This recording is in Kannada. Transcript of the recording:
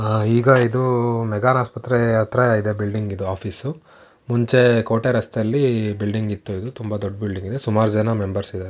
ಆ ಈಗ ಇದು ಮೆಗ್ಗಾನ್ ಆಸ್ಪತ್ರೆ ಹತ್ರ ಇದೆ ಬಿಲ್ಡಿಂಗ್ ಇದು ಆಫೀಸ್ . ಮುಂಚೆ ಕೋಟೆ ರಸ್ತೆಯಲ್ಲಿ ಬಿಲ್ಡಿಂಗ್ ಇತ್ತು ಇದು ತುಂಬಾ ದೊಡ್ಡ ಬಿಲ್ಡಿಂಗ್ ಇದು ಸುಮಾರ್ ಜನ ಮೆಂಬರ್ಸ್ ಇದ್ದಾರೆ.